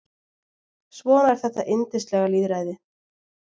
Svona er þetta yndislega lýðræði.